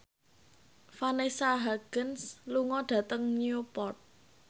Vanessa Hudgens lunga dhateng Newport